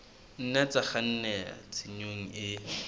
nna tsa kgannela tshenyong e